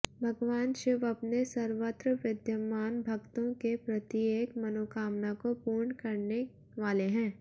भगवान शिव अपने सर्वत्र विद्यमान भक्तों के प्रत्येक मनोकामना को पूर्ण करने वाले हैं